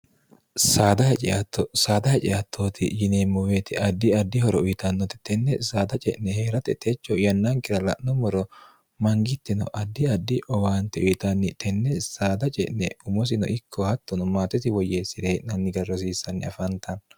saada haciatto saada haciattooti yineemmuweeti addi addihoro uyitannote tenne saada ce'ne hee'rate techo yannankira la'nommoro mangittino addi addi owaante uyitanni tenne saada ce'ne umosino ikko hattono maatesi woyyeessi'rehee'nanni garrosiissanni afaantanno